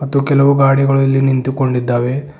ಮತ್ತು ಕೆಲವು ಗಾಡಿಗಳು ಇಲ್ಲಿ ನಿಂತುಕೊಂಡಿದ್ದಾವೆ.